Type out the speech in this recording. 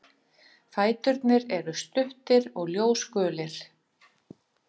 Fæturnir eru stuttir og ljósgulir.